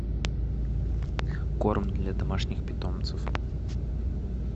корм для домашних питомцев